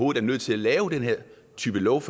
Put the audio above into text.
er nødt til at lave den her type love